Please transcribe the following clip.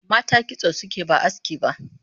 Mata kitso suke ba aski ba